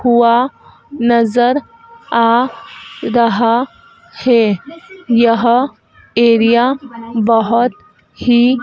कुंआ नज़र आ रहा हैं यह एरिया बहोत ही --